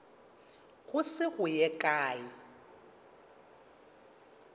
go se go ye kae